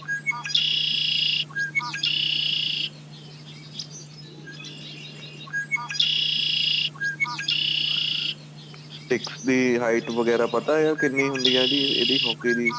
sticks ਦੀ height ਵਗੈਰਾ ਪਤਾ ਆ ਕਿੰਨੀ ਹੁੰਦੀ ਆ ਜੀ hockey ਦੀ